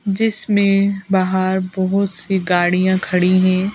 जिसमें बाहर बहुत सी गाड़ियां खड़ी हैं।